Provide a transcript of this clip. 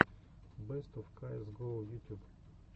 бэст оф каэс гоу ютюб